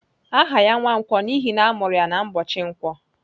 Aha ya Nwankwo n'ihi na amuru ya n'ubochi nkwo.